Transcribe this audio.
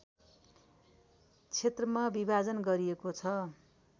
क्षेत्रमा विभाजन गरिएको छ